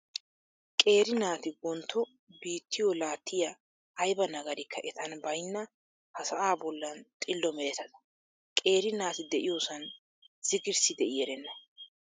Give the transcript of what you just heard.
Qeeri naati wontto biittiyo laattiya, ayba nagarikka etan baynna ha sa"aa bollan xillo meretata. Qeeri naati de'iyoosan zigirssi de'i erenna.